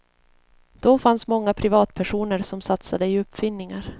Då fanns många privatpersoner som satsade i uppfinningar.